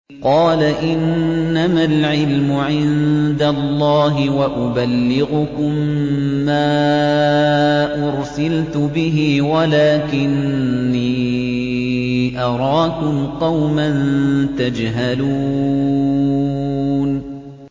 قَالَ إِنَّمَا الْعِلْمُ عِندَ اللَّهِ وَأُبَلِّغُكُم مَّا أُرْسِلْتُ بِهِ وَلَٰكِنِّي أَرَاكُمْ قَوْمًا تَجْهَلُونَ